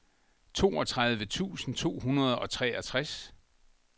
toogtredive tusind to hundrede og treogtres